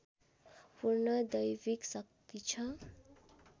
पूर्ण दैविक शक्ति छ